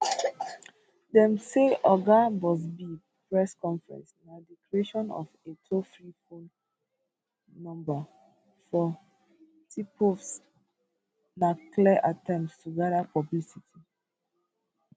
dem say oga buzbee press conference and di creation of a tollfree phone number for tipoffs na clear attempts to garner publicity